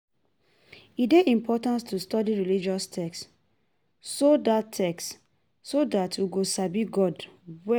E dey important to study religious texts so that texts so that we go sabi God well.